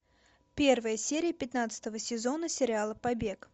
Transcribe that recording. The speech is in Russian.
первая серия пятнадцатого сезона сериала побег